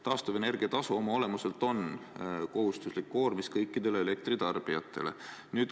Taastuvenergia tasu oma olemuselt on kohustuslik koormis kõikidele elektritarbijatele.